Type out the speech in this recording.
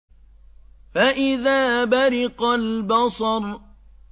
فَإِذَا بَرِقَ الْبَصَرُ